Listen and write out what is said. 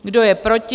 Kdo je proti?